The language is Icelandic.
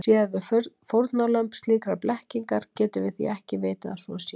Séum við fórnarlömb slíkrar blekkingar getum við því ekki vitað að svo sé.